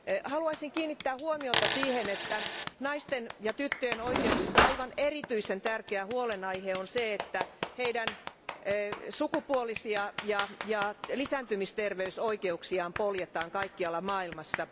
Haluaisin kiinnittää huomiota siihen, että naisten ja tyttöjen oikeuksissa aivan erityisen tärkeä huolenaihe on se, että heidän sukupuolisia ja lisääntymisterveysoikeuksiaan poljetaan kaikkialla maailmassa.